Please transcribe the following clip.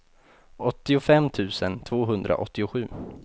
åttiofem tusen tvåhundraåttiosju